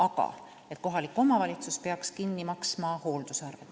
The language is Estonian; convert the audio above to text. Eeldatakse, et kohalik omavalitsus peaks kinni maksma hoolduse.